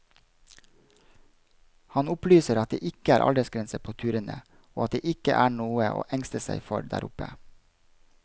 Han opplyser at det ikke er aldersgrense på turene, og at det ikke er noe å engste seg for der oppe.